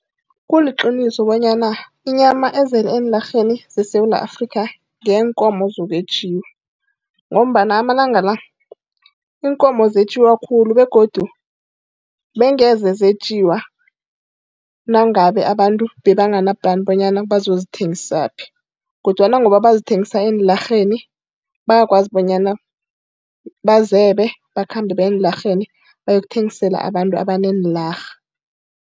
Kuliqiniso bonyana inyama ezele eenlarheni zeSewula Afrika ngeyeenkomo zokwetjiwa, ngombana amalanga la iinkomo zetjiwa khulu begodu bengeze zetjiwa nangabe abantu bebangana plan bonyana bazozithengisaphi. Kodwana ngoba bazithengisa eenlarheni, bayakwazi bonyana bazebe, bakhambe baye eenlarheni boyothengisela abantu abaneenlarha.